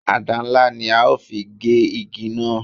Àdá ńlá ni a ó fi gé ìdí náà